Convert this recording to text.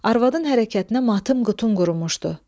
Arvadın hərəkətinə matım qutun qurumuşdu.